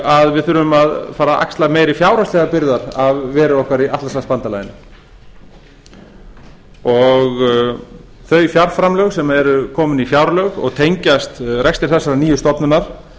að við þurfum að fara að axla meiri fjárhagslegar byrðar af veru okkar í atlantshafsbandalaginu þau fjárframlög sem eru komin í fjárlög og tengjast rekstri þessarar nýju stofnunar